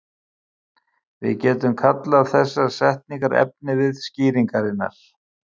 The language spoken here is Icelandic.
Við getum kallað þessar setningar efnivið skýringarinnar.